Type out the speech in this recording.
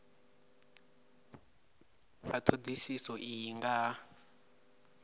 nga thodisiso iyi nga ha